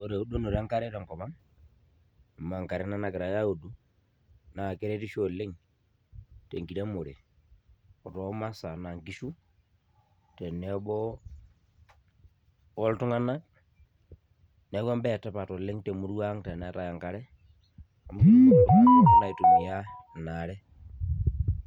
Ore eudunoto enkare tenkop ang, amu enkare ena nagirai audu, naa keretisho oleng tenkiremore otoo masaa enaa nkishu, tenebo oltung'anak, neeku ebae etipat oleng temurua ang teneetae enkare, amu ketumoki naa intokiting pookin aitumia inaare.